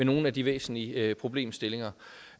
nogle af de væsentlige problemstillinger